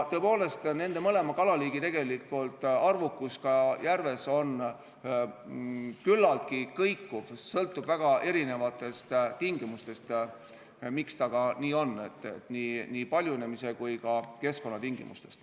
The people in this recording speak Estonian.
Tõepoolest, nende mõlema kalaliigi arvukus järves on küllaltki kõikuv, see sõltub väga erinevatest tingimustest, nii paljunemis- kui ka keskkonnatingimustest.